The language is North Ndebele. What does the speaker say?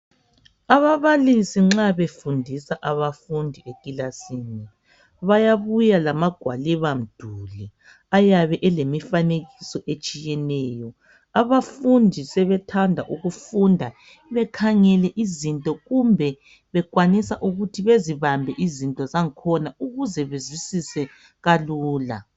Ababalisi nxa befundisa abafundi ekilasini bayabuya lamagwaliba mduli eyabe ilemifanekiso etshiyeneyo. Abafundi sebethanda ukufunda bekhangele izinto kumbe bekwanisa ukuthi bezibambele izinto zakhona ukuze bezawisise kalula.